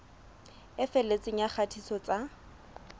e felletseng ya kgatiso tsa